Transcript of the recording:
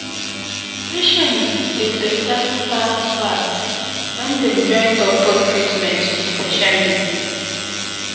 patient dey better fast-fast when dem join doctor treatment with patient belief.